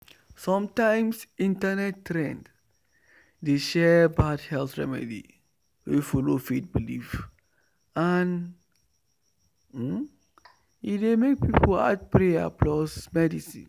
sometimes internet trend dey share bad health remedy wey follow faith belief and e dey make people add prayer plus medicine.